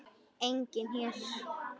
Enginn her.